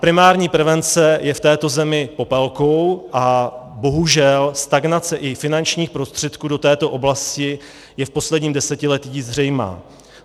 Primární prevence je v této zemi popelkou a bohužel stagnace i finančních prostředků do této oblasti je v posledním desetiletí zřejmá.